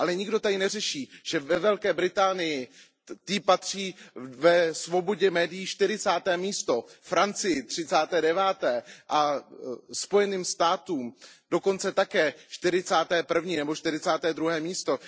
Ale nikdo tady neřeší, že Velké Británii patří ve svobodě médií čtyřicáté místo, Francii třicáté deváté a Spojeným státům dokonce čtyřicáté první nebo čtyřicáté druhé místo.